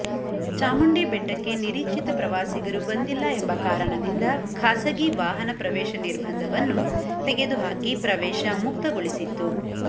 ಚಾಮುಂಡಿ ಬೆಟ್ಟಕ್ಕೆ ನಿರೀಕ್ಷಿತ ಪ್ರವಾಸಿಗರು ಬಂದಿಲ್ಲ ಎಂಬ ಕಾರಣದಿಂದ ಖಾಸಗಿ ವಾಹನ ಪ್ರವೇಶ ನಿರ್ಬಂಧವನ್ನು ತೆಗೆದುಹಾಕಿ ಪ್ರವೇಶ ಮುಕ್ತಗೊಳಿಸಿತ್ತು